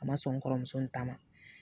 A ma sɔn n kɔrɔmuso in ta ma